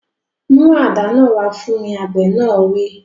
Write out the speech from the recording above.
Mú àdá náà wá fún mi! Àgbẹ̀ náà wí.